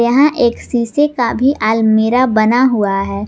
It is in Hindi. यहां एक शीशे का भी आलमीरा बना हुआ है।